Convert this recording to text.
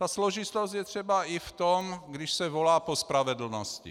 Ta složitost je třeba i v tom, když se volá po spravedlnosti.